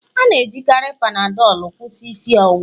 A na-ejikarị Panadol kwụsị isi ọwụwa